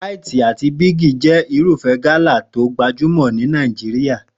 Ràìtì àti Bíìgì jẹ́ irúfẹ́ gala tó gbajúmò ni Nàìjíríà